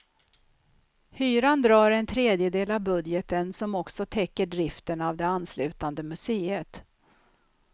Hyran drar en tredjedel av budgeten som också täcker driften av det anslutande museet.